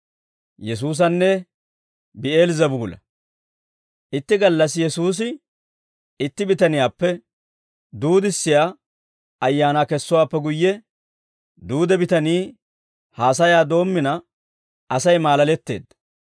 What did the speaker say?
Itti gallassi Yesuusi itti bitaniyaappe duudissiyaa ayaanaa kessowaappe guyye duude bitanii haasayaa doommina, Asay maalaletteedda.